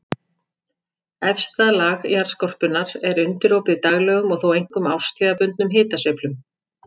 Efsta lag jarðskorpunnar er undirorpið daglegum og þó einkum árstíðabundnum hitasveiflum.